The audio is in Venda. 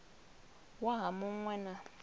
waha mu ṅ we na